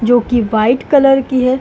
जोकि white colour की है।